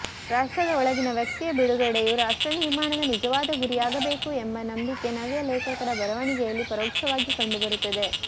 ರಾಷ್ಟ್ರದ ಒಳಗಿನ ವ್ಯಕ್ತಿಯ ಬಿಡುಗಡೆಯು ರಾಷ್ಟ್ರ ನಿರ್ಮಾಣದ ನಿಜವಾದ ಗುರಿಯಾಗಬೇಕು ಎಂಬ ನಂಬಿಕೆ ನವ್ಯ ಲೇಖಕರ ಬರವಣಿಗೆಯಲ್ಲಿ ಪರೋಕ್ಷವಾಗಿ ಕಂಡುಬರುತ್ತದೆ